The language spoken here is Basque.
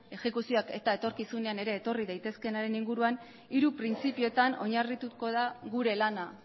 ejekuzioak eta etorkizunean ere etorri daitezkeenaren inguruan hiru printzipioetan oinarrituko da gure lana